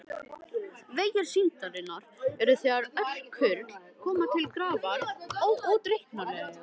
Vegir syndarinnar eru þegar öll kurl koma til grafar óútreiknanlegir.